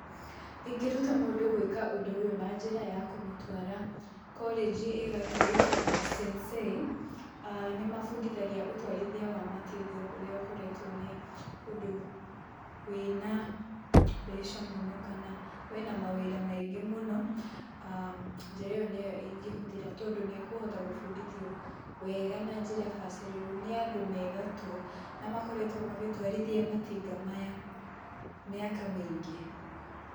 Ingĩruta mũndũ ũndũ ũyũ na njĩra ya kũmũtwara kolenji ĩgatũ ĩtagwo Sensei, aa nĩ mabundithagia ũtwarithia wa matinga ũrĩa ũkoretwo nĩ ũndũ wĩna mbeca mũno kana wĩna mawĩra maingĩ mũno, aa njĩra ĩyo nĩyo ingĩhũthĩra tondũ nĩ akũhota gũbundithio wega na bacĩrĩru nĩ andũ megatũ na makoretwo magĩtwarithia matinga maya mĩaka mĩingĩ.